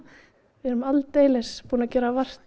við erum aldeilis búin að gera vart